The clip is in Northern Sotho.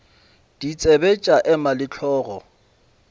ditsebe tša ema le hlogo